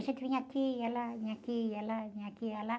A gente vinha aqui, ia lá, vinha aqui, ia lá, vinha aqui, ia lá.